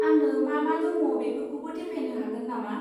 आंनो मा मा दङ बेफोरखौबो देखायनो हागोन नामा?